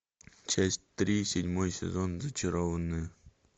часть три седьмой сезон зачарованные